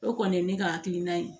O kɔni ye ne ka hakilina ye